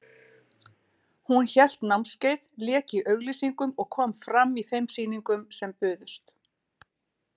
Hún hélt námskeið, lék í auglýsingum og kom fram í þeim sýningum sem buðust.